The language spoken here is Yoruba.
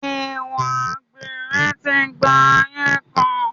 Ìwà àgbèrè ti gba ayé kan.